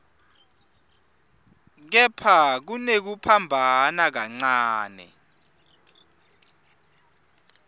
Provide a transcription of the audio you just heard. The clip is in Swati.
kepha kunekuphambana kancane